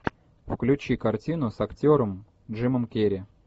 включи картину с актером джимом керри